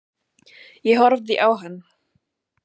Ég horfði á hann.